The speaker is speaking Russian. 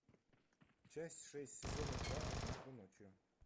часть шесть сезона два однажды ночью